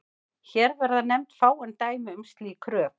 Hér verða nefnd fáein dæmi um slík rök.